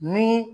Ni